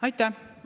Aitäh!